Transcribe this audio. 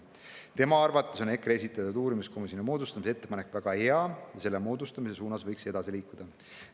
Tema arvates on EKRE esitatud uurimiskomisjoni moodustamise ettepanek väga hea ja selle moodustamise suunas võiks edasi liikuda.